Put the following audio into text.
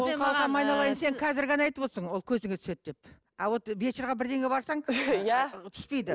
қалқам айналайын сен қазір ғана айтып отырсың ол көзге түседі деп а вот вечерге бірдеңеге барсаң иә түспейді